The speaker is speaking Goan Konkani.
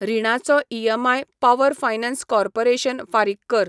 रिणाचो ईएमआय पॉवर फायनान्स कॉर्पोरेशन फारीक कर.